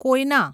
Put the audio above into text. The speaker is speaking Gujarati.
કોયના